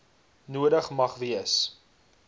nodig mag wees